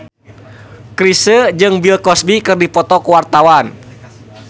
Chrisye jeung Bill Cosby keur dipoto ku wartawan